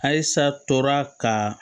Ayisa tora ka